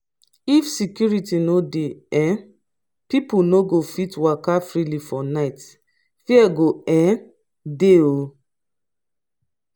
if security no dey um pipo no go fit waka freely for night fear go um dey um